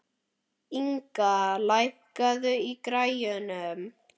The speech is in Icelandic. Inga, lækkaðu í græjunum.